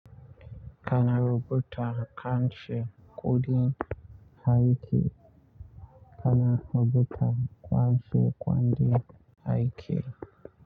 Kana rubuta kanshe ƙudin aiki, kana rubuta kanshe kwandin aiki.